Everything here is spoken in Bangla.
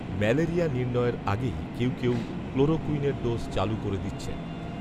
ম্যালেরিয়া নির্ণয়ের আগেই কেউ কেউ ক্লোরোকূইনের ডোজ চালু করে দিচ্ছেন